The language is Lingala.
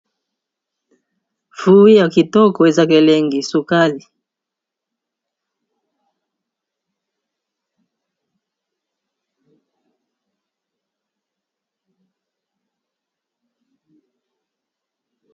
fui ya kitookoweza kelengi sukali